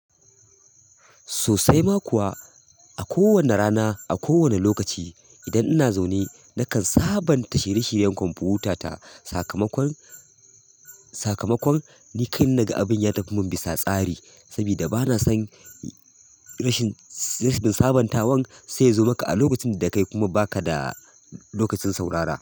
Sosai ma kuwa a kowane rana, a kowane lokaci idan ina zaune nakan sabanta shirye shiryen kwamfutata. Sakamakon, sakamakon ni kai na ga abin ya tafi mun bisa tsari. Saboda bana son rashin sabuntawan sai zo maka a lokacin da kai kuma ba ka da lokacin saurara.